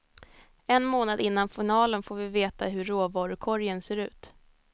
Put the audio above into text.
En månad innan finalen får vi veta hur råvarukorgen ser ut.